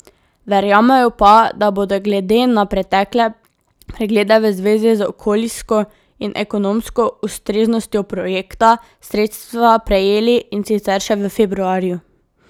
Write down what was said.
Verjamejo pa, da bodo glede na pretekle preglede v zvezi z okoljsko in ekonomsko ustreznostjo projekta sredstva prejeli, in sicer še v februarju.